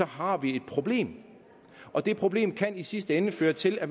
har vi et problem og det problem kan i sidste ende føre til at